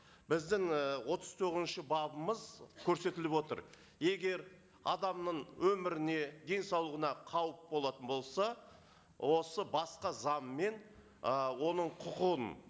біздің і отыз тоғызыншы бабымыз көрсетіліп отыр егер адамның өміріне денсаулығына қауіп болатын болса осы басқа заңмен ы оның құқын